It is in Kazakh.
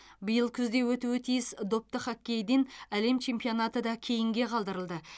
биыл күзде өтуі тиіс допты хоккейден әлем чемпионаты да кейінге қалдырылды